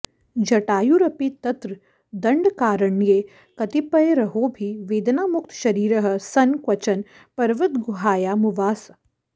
जटायुरपि तत्र दण्डकारण्ये कतिपयैरहोभिः वेदनामुक्तशरीरः सन् क्वचन पर्वतगुहायामुवास